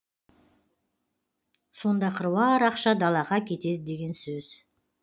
сонда қыруар ақша далаға кетеді деген сөз